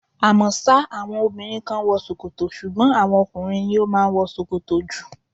À mọ́ sá àwọn obìnrin kan ń wọ ṣòkòtò, ṣùgbọ́n àwọn ọkùnrin ni ó máa ń wọ ṣòkòtò jù.